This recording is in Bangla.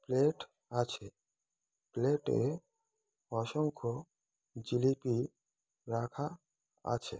প্লেট আছে প্লেট -এ অসংখ্য জিলিপি রাখা আছে।